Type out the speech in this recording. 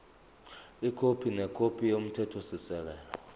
ikhophi nekhophi yomthethosisekelo